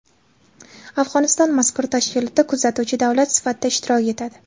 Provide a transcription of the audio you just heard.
Afg‘oniston mazkur tashkilotda kuzatuvchi davlat sifatida ishtirok etadi.